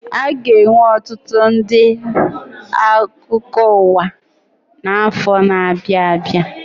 Aga enwe ọtụtụ ndị akụkọ ụwa na afọ ndị na abịa abịa